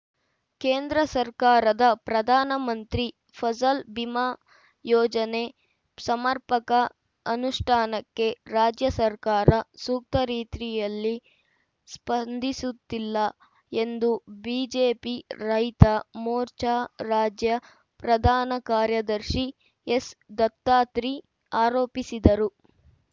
ಕೇಂದ್ರ ಸರ್ಕಾರದ ಪ್ರಧಾನ ಮಂತ್ರಿ ಫಸಲ್‌ ಬಿಮಾ ಯೋಜನೆ ಸಮರ್ಪಕ ಅನುಷ್ಠಾನಕ್ಕೆ ರಾಜ್ಯ ಸರ್ಕಾರ ಸೂಕ್ತ ರೀತ್ರಿಯಲ್ಲಿ ಸ್ಪಂದಿಸುತ್ತಿಲ್ಲ ಎಂದು ಬಿಜೆಪಿ ರೈತ ಮೋರ್ಚಾ ರಾಜ್ಯ ಪ್ರಧಾನ ಕಾರ್ಯದರ್ಶಿ ಎಸ್‌ದತ್ತಾತ್ರಿ ಆರೋಪಿಸಿದರು